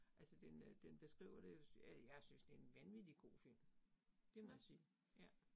Altså den øh den beskriver det øh, jeg synes det en vanvittig god film. Det må jeg sige, ja